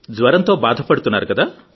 జ్వరంతో బాధ పడుతున్నారు కదా